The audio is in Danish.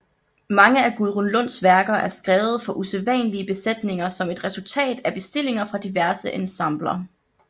Mange af Gudrun Lunds værker er skrevet for usædvanlige besætninger som et resultat af bestillinger fra diverse ensembler